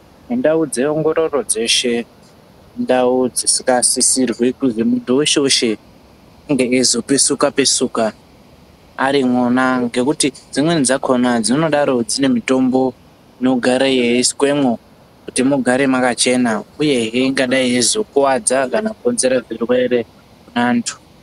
Mundau dzeongororo dzeshe indau dzisikasisirwi kuzwi muntu weshe weshe ange eizopesuka pesuka arimwona ngekuti dzimweni dzakhona dzinodaro dzine mutombo inogara yeiswemwo kuti mugare mwakachena uyehe ingadai yeizokuwadza kana kukonzera zvirwere muanthu.